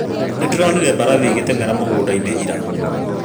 Nĩndĩronire mbarathi ĩgĩteng'era mĩgũnda-inĩ ira